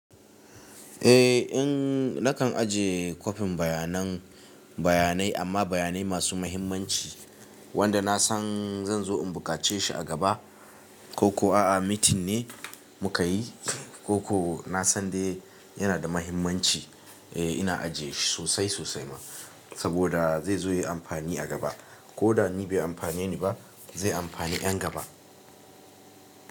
Eh in nakan ajiye kwafin baya nan bayanai amma bayanai masu muhimmanci wanda na san zan zo in buƙace shi a gaba. Ko ko a'a meeting ne mukayi, ko ko nasan dai yana da mahimmanci. Eh ina ajiye shi sosai sosai ma saboda zai zo yayi amfani a gaba. Ko da ni bai amfane ni ba zai amfani 'yan gaba.